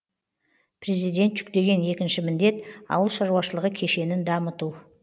президент жүктеген екінші міндет ауыл шаруашылығы кешенін дамыту